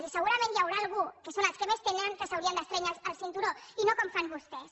i segurament hi haurà algú que són els que més tenen que s’haurien d’estrènyer el cinturó i no com fan vostès